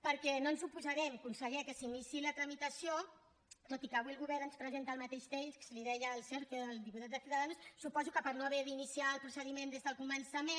perquè no ens oposarem conseller que se n’iniciï la tramitació tot i que avui el govern ens presenta el mateix text li ho deia el sergio el diputat de ciudadanos suposo que per no haver d’iniciar el procediment des del començament